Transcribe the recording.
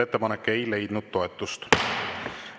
Ettepanek ei leidnud toetust.